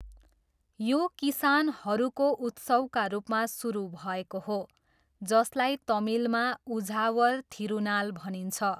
यो किसानहरूको उत्सवका रूपमा सुरु भएको हो, जसलाई तमिलमा उझावर थिरुनाल भनिन्छ।